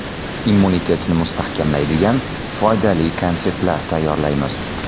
Immunitetni mustahkamlaydigan foydali konfetlar tayyorlaymiz.